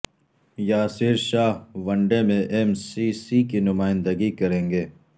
Yasir Shah one day میں M C C کی نمائندگی کرینگے